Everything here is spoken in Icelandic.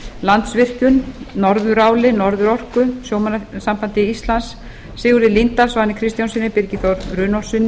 landsvirkjun norðuráli norðurorku sjómannasambandi íslands sigurði líndal svani kristjánssyni birgi þór runólfssyni